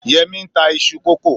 Yẹmí n ta isu kókò